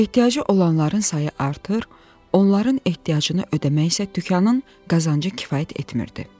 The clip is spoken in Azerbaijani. Ehtiyacı olanların sayı artır, onların ehtiyacını ödəmək isə dükanın qazancı kifayət etmirdi.